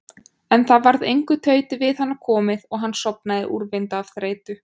En það varð engu tauti við hana komið og hann sofnaði úrvinda af þreytu.